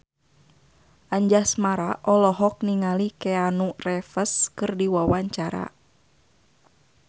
Anjasmara olohok ningali Keanu Reeves keur diwawancara